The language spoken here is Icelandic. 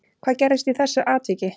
Hvað gerðist í þessu atviki